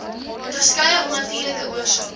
onderskeie onnatuurlike oorsake